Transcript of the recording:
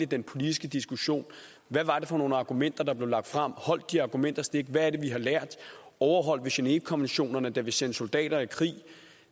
den politiske diskussion hvad var det for nogle argumenter der blev lagt frem holdt de argumenter stik hvad er det vi har lært overholdt vi genèvekonventionerne da vi sendte soldater i krig